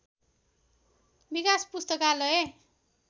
विकाश पुस्तकालय